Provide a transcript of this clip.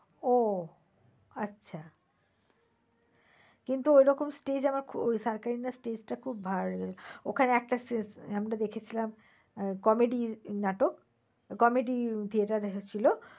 ও আচ্ছা। কিন্তু ওই রকম stage আমার ওই stage টা খুব ভাল। ওখানে একটা আমরা দেখেছিলাম আহ comedy নাটক। comedy theater দেখেছিল।